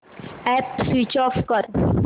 app switch on कर